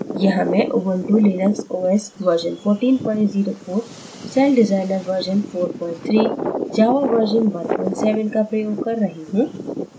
यहाँ मैं ubuntu linux os version 1404 celldesigner version 43 java version 17 का प्रयोग कर रही हूँ